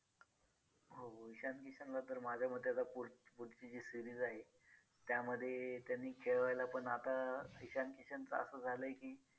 हो ईशान किशनला तर माझ्या मते आता पुढची जी series आहे त्यामध्ये त्यांनी खेळवायला पण आता ईशान किशनचं असं झालंय की